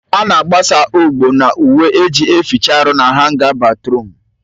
A na-agbasa ogbo n'uwe eji eficha ahụ na hanga batruum